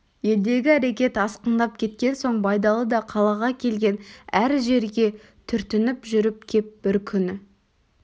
елдегі әрекет асқындап кеткен соң байдалы да қалаға келген әр жерге түртініп жүріп кеп бір күні